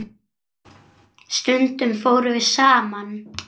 Stundum fórum við saman.